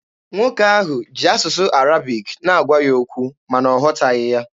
Nwoke ahụ ji asụsụ Arabic na-agwa ya okwu, ma na ọ ghọtaghị ya.